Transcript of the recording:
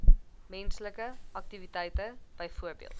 menslike aktiwiteite byvoorbeeld